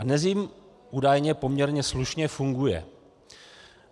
A dnes jim údajně poměrně slušně funguje.